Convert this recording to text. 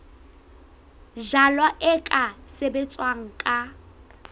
jalwa e ka sebetswa ka